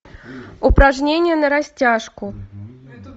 упражнение на растяжку